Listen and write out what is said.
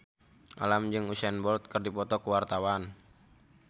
Alam jeung Usain Bolt keur dipoto ku wartawan